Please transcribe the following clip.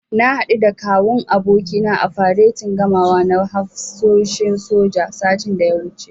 Na haɗu da Kawun abokina a faretin gamawa na hafsoshin soja, satin da ya wuce.